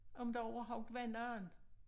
Om der overhovedet var nogen